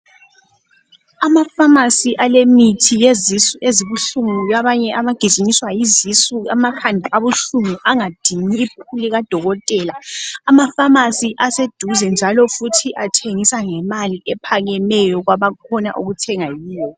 AmaPharmacy alemithi yezisu ezibuhlungu ke abanye abagijinyiswa yizisu , amakhanda abuhlungu angadingi ibhuku likaDokotela. Ama Pharmacy aseduze njalo futhi athengisa ngemali ephakemeyo kwaba khona ukuthenga kiwo.